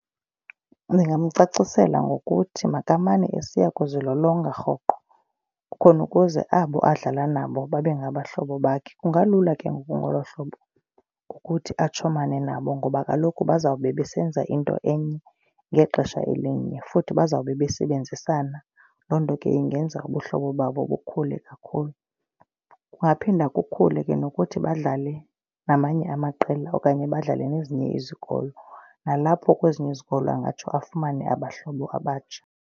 Ndingamcacisela ngokuthi makamane esiya kuzilolonga rhoqo khona ukuze abo adlala nabo babe ngabahlobo bakhe. Kungalula ke ngoku ngolo hlobo ukuthi atshomane nabo ngoba kaloku bazawube besenza into enye ngexesha elinye. Futhi bazawube besebenzisana. Loo nto ke ingenza ubuhlobo babo bukhule kakhulu. Kungaphinda kukhule ke nokuthi badlale namanye amaqela okanye badlale nezinye izikolo nalapho kwezinye izikolo engatsho afumane abahlobo abatsha.